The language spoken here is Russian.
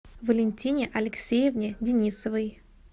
валентине алексеевне денисовой